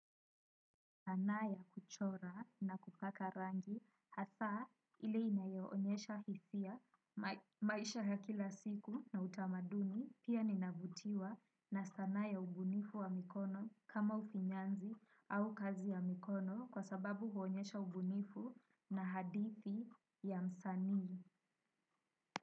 Sanaa ya kuchora na kupaka rangi hasaa ile inayoonyesha hisia maisha ya kila siku na utamaduni pia ninavutiwa na sanaa ya ubunifu wa mikono kama ufinyanzi au kazi ya mikono kwa sababu huonyesha ubunifu na hadithi ya msanii.